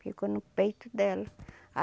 Ficou no peito dela a